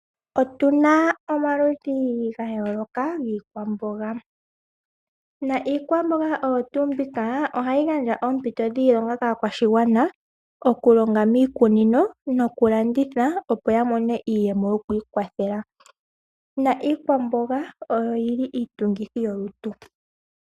Otuna omaludhi gayooloka giikwamboga . Iikwamboga mbika ohayi gandja oompito dhiilonga kaakwashigwana okulonga miikunino nokulanditha opo yamone iiyemo yokwiikwathela. Iikwamboga oyo yili iitungithi yolutu.